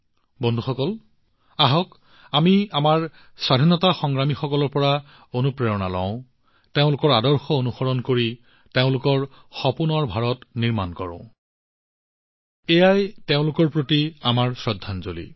বন্ধুসকল আহক আমি আমাৰ স্বাধীনতা সংগ্ৰামীসকলৰ পৰা অনুপ্ৰেৰণা গ্ৰহণ কৰোঁৎ তেওঁলোকৰ আদৰ্শ অনুসৰণ কৰোঁ আৰু তেওঁলোকৰ সপোনৰ ভাৰত সৃষ্টি কৰোঁ এয়া হৈছে তেওঁলোকৰ প্ৰতি আমাৰ প্ৰকৃত শ্ৰদ্ধাঞ্জলি